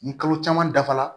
Ni kalo caman dafara